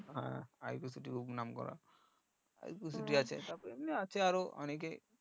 হ্যাঁ খুব নাম করা তারপরে এমনি আছে আরো অনেকে